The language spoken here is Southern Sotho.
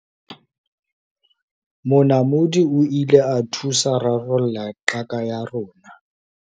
monamodi o ile a thusa rarolla qaka ya rona